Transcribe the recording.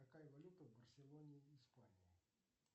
какая валюта в барселоне испании